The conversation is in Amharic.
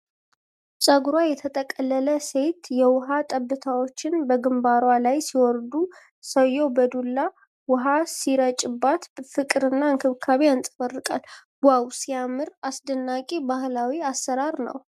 ፀጉሯ የተጠቀለለ ሴት የውሃ ጠብታዎች በግንባሯ ላይ ሲወርዱ ሰውየው በዱላ ውኃ ሲረጭባት ፍቅርና እንክብካቤ ያንጸባርቃል። ዋው ሲያምር! አስደናቂ ባህላዊ አሠራር ነው ።